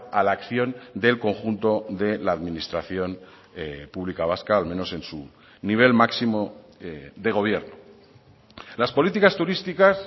a la acción del conjunto de la administración pública vasca al menos en su nivel máximo de gobierno las políticas turísticas